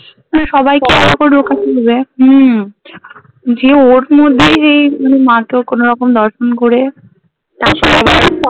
সবাইকে হম যে ওর মধ্যেই সেই মানে মা কে কোনোরকম দর্শন করে